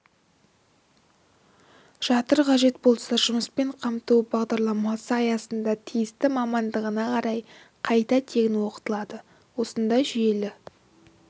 жатыр қажет болса жұмыспен қамту бағдарламасы аясында тиісті мамандығына қарай қайта тегін оқытылады осындай жүйелі